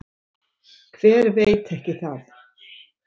Hver veit ekki það?